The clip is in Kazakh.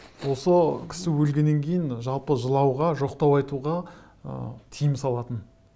осы кісі өлгеннен кейін жалпы жылауға жоқтау айтуға ы тыйым салатын